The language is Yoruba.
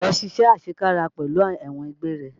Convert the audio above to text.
Lọ ṣiṣé àṣekára pẹ̀lú ẹ̀wọ̀n àgbéré!